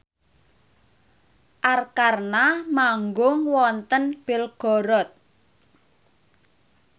Arkarna manggung wonten Belgorod